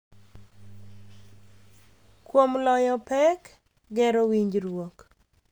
Kuom loyo pek, gero winjruok,